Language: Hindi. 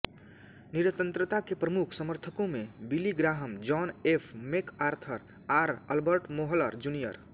निरंतरता के प्रमुख समर्थकों में Billy Graham John F MacArthur R Albert Mohler junior